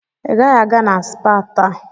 Ị gaghị aga na spaa taa.